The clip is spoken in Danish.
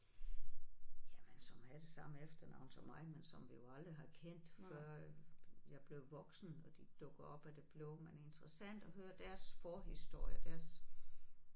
Jamen som havde det samme efternavn som mig men som vi jo aldrig har kendt før jeg blev voksen og de dukker op af det blå men interessant at høre deres forhistorie deres